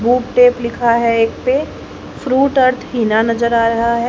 Book tape लिखा है एक पे फ्रूट अर्थ हीना नजर आ रहा है।